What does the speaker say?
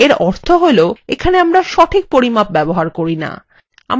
এর অর্থ হল এখানে আমরা সঠিক পরিমাপ ব্যবহার করি না